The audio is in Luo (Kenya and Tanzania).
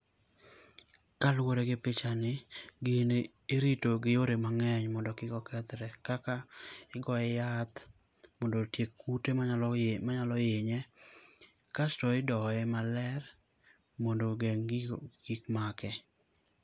Ka luore gi picha ni gini irito gi yore ma ngeny mondo kik okethre kaka igoye yath mondo otiek kute ma nyalo hinye kasto i doye maler mondo ogeng gigo kik make.